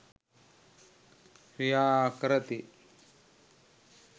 ක්‍රියා කරති.